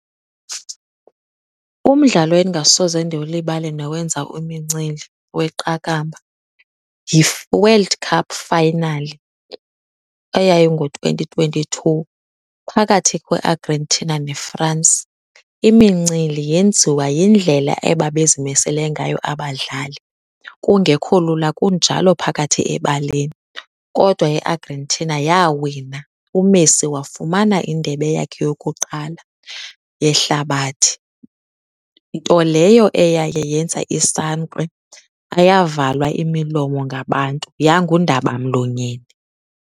Umdlalo endingasoze ndiwulibale nowenza imincili weqakamba yiWorld Cup Final eyayingo-twenty twenty-two phakathi kweArgentina neFrance. Imincili yenziwa yindlela ebabezimisele ngayo abadlali. Kungekho lula kunjalo phakathi ebaleni kodwa iArgentina yawina, uMessi wafumana indebe yakhe yokuqala yehlabathi, nto leyo eyaye yenza isankxwe ayavalwa imilomo ngabantu, yangundabamlonyeni.